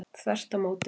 Þvert á móti.